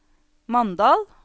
Mandal